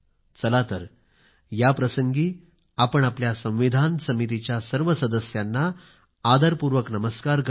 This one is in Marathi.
चला तर या प्रसंगी आपण आपल्या संविधान समितीच्या सर्व सदस्यांना आदरपूर्वक नमस्कार करुया